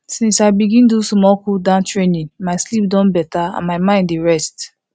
since i begin do small cooldown training my sleep don better and my mind dey rest